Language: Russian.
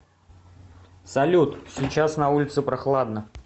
салют сейчас на улице прохладно